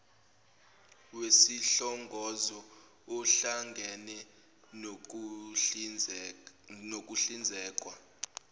wesihlongozo ohlangene nokuhlinzekwa